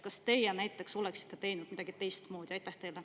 Kas teie näiteks oleksite teinud midagi teistmoodi?